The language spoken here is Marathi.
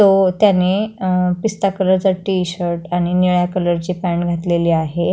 तो त्याने अ पिस्ता कलरचा टी-शर्ट आणि निळ्या कलर ची पॅन्ट घातलेली आहे.